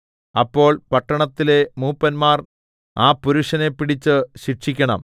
അപ്പോൾ പട്ടണത്തിലെ മൂപ്പന്മാർ ആ പുരുഷനെ പിടിച്ച് ശിക്ഷിക്കണം